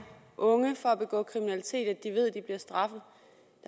unge fra at begå kriminalitet at de ved de bliver straffet